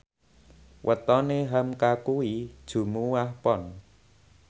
wetone hamka kuwi Jumuwah Pon